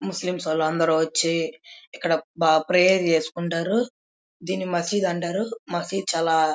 ముస్లిమ్ అందరూ వచ్చి ఇక్కడ ప్రేయర్ చేసుకుంటారు దీన్ని మసీదు అంటారు మసీదు చాలా --